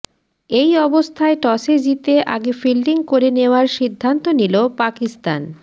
এই অবস্থায় টসে জিতে আগে ফিল্ডিং করে নেওয়ার সিদ্ধান্ত নিল পাকিস্তান